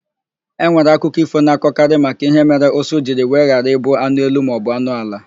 Enwere akụkọ ífò na-akọ maka ihe mere ụsụ jiri wee ghara ịbụ anụ elu maọbụ anụ ala.